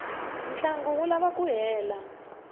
ntlangu wu lava ku hela